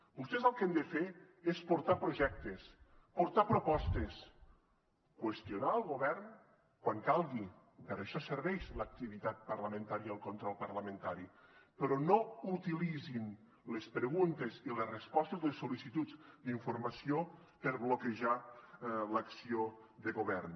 vostès el que han de fer és portar projectes portar propostes qüestionar el govern quan calgui per això serveix l’activitat parlamentària i el control parlamentari però no utilitzin les preguntes i les respostes les sol·licituds d’informació per bloquejar l’acció de govern